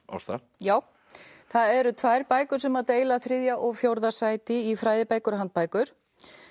Ásta já það eru tvær bækur sem deila þriðja og fjórða sæti í fræðibækur og handbækur